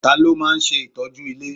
Ta ló máa ń ṣe ìtọ́jú ilé?